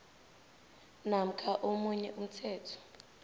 namkha omunye umthetho